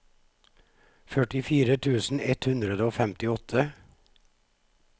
førtifire tusen ett hundre og femtiåtte